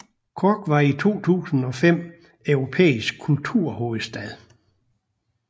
Cork var i 2005 europæisk kulturhovedstad